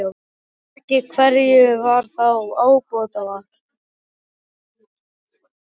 Ef ekki, hverju var þá ábótavant?